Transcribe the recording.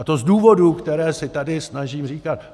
A to z důvodů, které si tady snažím říkat.